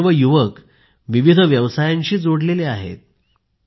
हे सर्व युवक विविध व्यवसायाशी जोडलेले आहेत